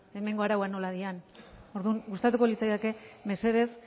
hemengo arauak nola diren orduan gustatuko litzaidake mesedez